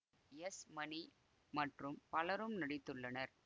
S Mani மற்றும் பலரும் நடித்துள்ளனர்